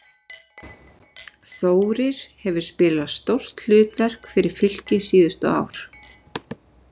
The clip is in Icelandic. Þórir hefur spilað stórt hlutverk fyrir Fylki síðustu ár.